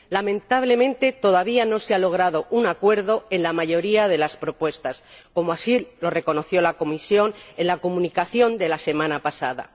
Lamentablemente, todavía no se ha logrado un acuerdo en la mayoría de las propuestas, como así lo reconoció la Comisión en la Comunicación de la semana pasada.